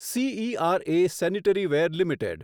CERA sanitaryware limited